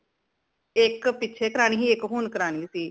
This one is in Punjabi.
ਇਕ ਪਿੱਛੇ ਕਰਾਣੀ ਸੀ ਇਕ ਹੁਣ ਕਰਾਣੀ ਸੀ